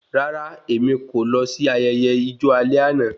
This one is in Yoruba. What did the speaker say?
Rárá, èmi kò lọ sí ayẹyẹ ijo alẹ́ àna